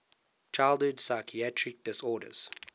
childhood psychiatric disorders